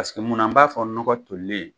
Paseke munna b'a fɔ nɔgɔ tolilen?